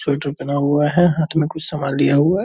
sweater पहना हुआ है हाथ मे कुछ सामान लिया हुआ है --